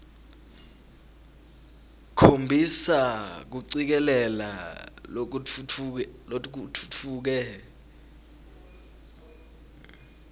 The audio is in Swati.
khombisa kucikelela lokutfutfuke